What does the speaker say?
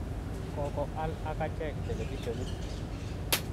Kokoal ak achek televisionit.